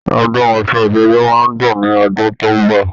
Ọdún Ọ̀ṣun Òṣogbo máa dùn ní ọdún tó ń bọ̀